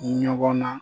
Ɲɔgɔn na